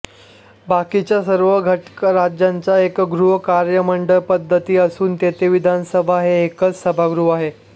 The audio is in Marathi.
बाकीच्या सर्व घटकराज्यांत एकगृह कायदेमंडळ पद्धती असून तेथे विधानसभा हे एकच सभागृह आहे